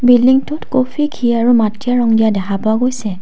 বিল্ডিংটোত কফি ঘি আৰু মাটীয়া ৰং দিয়া দেখা পোৱা গৈছে।